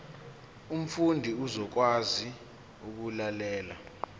umfundi uzokwazi ukulalela